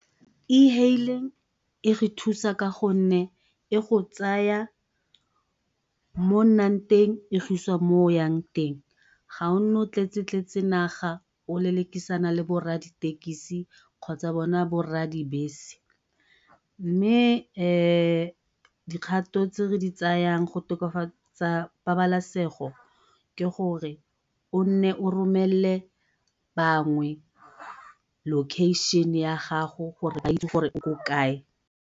E-haling e re thusa ka go nne e go tsaya mo o nnang teng e go isa mo o yang teng. Ga o nne o tletse tletse naga o lelekisana le bo rra di-tekesi kgotsa bone bo rra di-bese. Mme dikgato tse re di tsayang go tokafatsa pabalesego ke gore o nne o romelele bangwe location ya gago ba itse gore o ko kae.